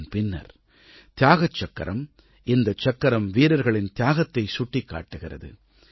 இதன் பின்னர் தியாகச் சக்கரம் இந்தச் சக்கரம் வீரர்களின் தியாகத்தைச் சுட்டிக் காட்டுகிறது